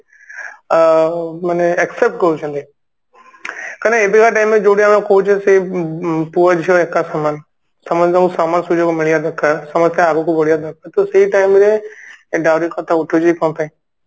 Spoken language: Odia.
ଅ ମାନେ accept କରୁଛନ୍ତି କାହିଁକି ନା ଏବେକା time ରେ ଯୋଉଠି ଆମେ କହୁଛୁ ସେ ପୁଅ ଝିଅ ଏକା ସମାନ ସମସ୍ତଙ୍କୁ ସମାନ ସୁଯୋଗ ମିଳିବା ଦରକାର ସମସ୍ତେ ଆଗକୁ ବଢିବା ଦରକାର ତ ସେଇ time ରେ dowry କଥା ଉଠୁଛି ହି କଣ ପାଇଁ